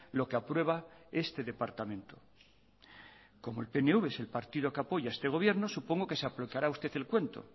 lo que aprueba este departamento como el pnv es el partido que apoya a este gobierno supongo que se aplicará usted el cuento